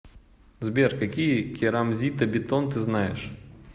сбер какие керамзитобетон ты знаешь